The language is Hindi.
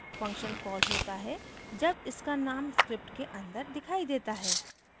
function कॉल होता है जब इसका name script के अंदर दिखाई देता है